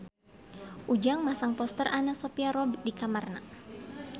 Ujang masang poster Anna Sophia Robb di kamarna